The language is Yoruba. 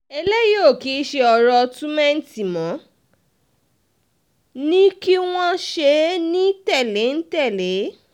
eléyìí ò kìí ṣe ọ̀rọ̀ túmẹ́ǹtì wọn ni kí wọ́n ṣe é ní tẹ̀lé ń tẹ̀lé